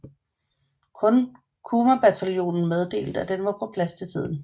Kun Kumabataljonen meddelte at den var på plads til tiden